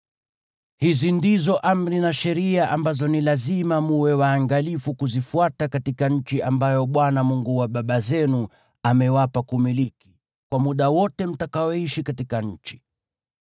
Hizi ndizo amri na sheria ambazo ni lazima mwe waangalifu kuzifuata katika nchi ambayo Bwana , Mungu wa baba zenu, amewapa kumiliki, kwa muda wote mtakaoishi katika nchi.